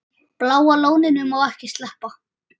Bláa lóninu má ekki sleppa.